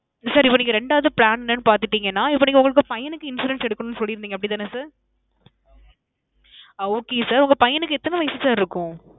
sir இப்போ நீங்க ரெண்டாவது plan என்னன்னு பாத்துட்டீங்கனா இப்போ உங்க பையனுக்கு insurance எடுக்கணும்னு சொல்லி இருந்தீங்க அப்பிடி தானே sir? ஆ. okay sir உங்க பையனுக்கு எத்தன வயசு sir இருக்கும்?